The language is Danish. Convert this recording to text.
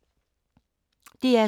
DR2